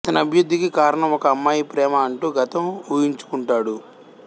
ఇతని అభివృద్ధికి కారణం ఒక అమ్మాయి ప్రేమ అంటు గతం వూహించుకుంటాడు